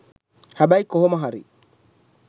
හැබැයි කොහොම හරි